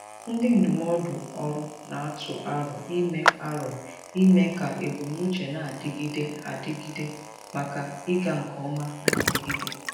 Ndị ndụmọdụ ọrụ na-atụ aro ime aro ime ka ebumnuche na-adịgide adịgide maka ịga nke ọma na-adigide.